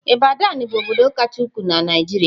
Ibadan bụ obodo kacha ukwuu na Naịjirịa.